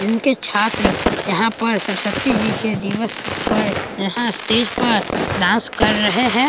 जिनके छात्र यहाँ पर सरस्वती जी के दिवस पर यहाँ स्टेज पर डांस कर रहे हैं।